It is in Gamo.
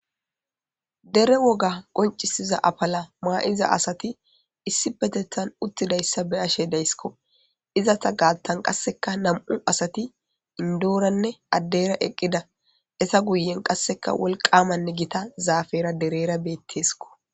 Dere woga qonc'isiza afala ma'iza asati issipetetan utidaysa be'ashe daysko izata gatan qaseka nam'u asati indorane adera eqida eta guyen qaseka wolqamane gita zafera derera betesko.